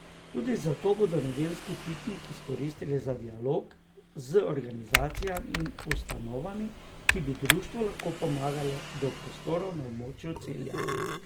Tudi zato bodo nedeljski piknik izkoristili za dialog z organizacijami in ustanovami, ki bi društvu lahko pomagale do prostorov na območju Celja.